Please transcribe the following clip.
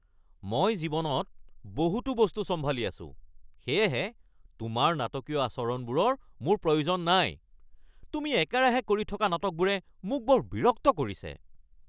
মই জীৱনত বহুতো বস্তু চম্ভালি আছোঁ সেয়েহে তোমাৰ নাটকীয় আচৰণবোৰৰ মোৰ প্ৰয়োজন নাই। তুমি একেৰাহে কৰি থকা নাটকবোৰে মোক বৰ বিৰক্ত কৰিছে।